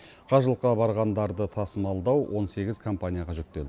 қажылыққа барғандарды тасымалдау он сегіз компанияға жүктелді